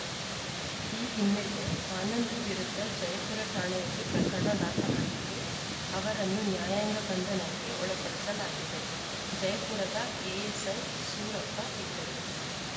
ಈ ಹಿನ್ನೆಲೆ ಆನಂದ್‌ ವಿರುದ್ಧ ಜಯಪುರ ಠಾಣೆಯಲ್ಲಿ ಪ್ರಕರಣ ದಾಖಲಾಗಿದ್ದು ಅವರನ್ನು ನ್ಯಾಯಾಂಗ ಬಂಧನಕ್ಕೆ ಒಳಪಡಿಸಲಾಗಿದೆ ಜಯಪುರದ ಎಎಸ್‌ಐ ಸೂರಪ್ಪ ಇದ್ದರು